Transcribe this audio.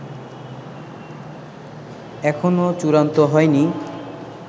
এখনও চূড়ান্ত হয়নি